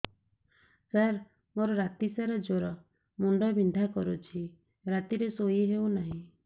ସାର ମୋର ରାତି ସାରା ଜ୍ଵର ମୁଣ୍ଡ ବିନ୍ଧା କରୁଛି ରାତିରେ ଶୋଇ ହେଉ ନାହିଁ